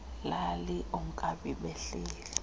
lali oonkabi bahleli